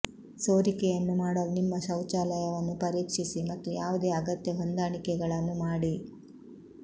ಸೋರಿಕೆಯನ್ನು ಮಾಡಲು ನಿಮ್ಮ ಶೌಚಾಲಯವನ್ನು ಪರೀಕ್ಷಿಸಿ ಮತ್ತು ಯಾವುದೇ ಅಗತ್ಯ ಹೊಂದಾಣಿಕೆಗಳನ್ನು ಮಾಡಿ